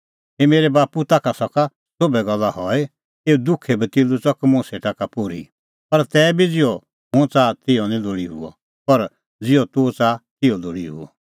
हे मेरै बाप्पू ताखा सका सोभै गल्ला हई एऊ दुखे कटोरै च़क मुंह सेटा का पोर्ही पर तैबी बी ज़िहअ हुंह च़ाहा तिहअ निं लोल़ी हुअ पर ज़िहअ तूह च़ाहा तिहअ लोल़ी हुअ